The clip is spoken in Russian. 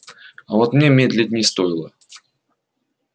а вот мне медлить не стоило